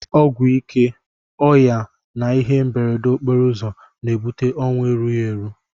Ọgwụ ike, ọya na ihe mberede okporouzọ na ebute onwu erughi eru.